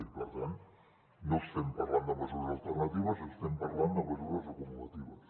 i per tant no estem parlant de mesures alternatives estem parlant de mesures acumulatives